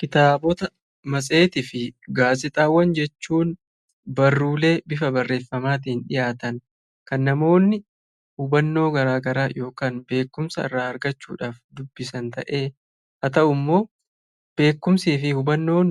Kitaabota, matseetii fi gaazexaawwan jechuun barruulee bifa barreeffaman dhiyaatan kan namoonni garaa garaa beekumsaa irraa argachuuf dubbisan ta'ee; haa ta'uu immoo beekumsii fi hubannoon